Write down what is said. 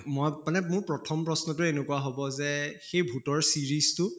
মই মানে মোৰ প্ৰথম প্ৰশ্নটো এনেকুৱা হʼব যে সেই ভূতৰ series টো